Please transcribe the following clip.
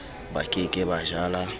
ba ke ke ba jala